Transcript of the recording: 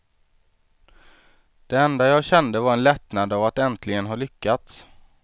Det enda jag kände var en lättnad av att äntligen ha lyckats.